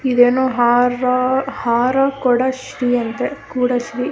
ಇದೇನೋ ಹಾರ ಹಾರ ಕೊಡಶ್ರೀ ಅಂತೆ ಕೂಡ ಶ್ರೀ --